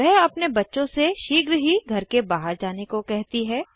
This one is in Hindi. वह अपने बच्चों से शीघ्र ही घर के बाहर जाने को कहती है